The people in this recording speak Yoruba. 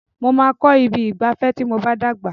Mo máa kọ ibi ìgbafẹ́ ti mo bá dàgbà.